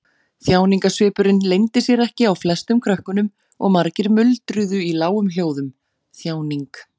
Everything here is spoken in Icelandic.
Þjáningarsvipurinn leyndi sér ekki á flestum krökkunum og margir muldruðu í lágum hljóðum: Þjáning.